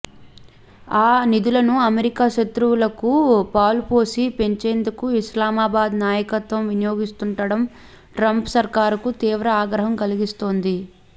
ఆ నిధులను అమెరికా శత్రువులకు పాలుపోసి పెంచేందుకే ఇస్లామాబాద్ నాయకత్వం వినియోగిస్తుండటం ట్రంప్ సర్కారుకు తీవ్ర ఆగ్రహం కలిగిస్తోంది